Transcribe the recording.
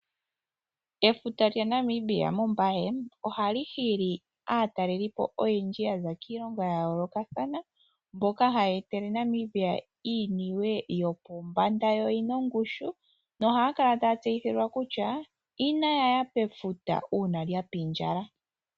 Efuta lyaNamibia mOmbaye ohali hili aataleli po oyendji yaza kiilongo ya yoolokathana mboka haya etele Namibia iiniwe yopombanda, yo oyina ongushu nohaya kala taya tseyithilwa kutya inaya ya pefuta uuna lya pindjala.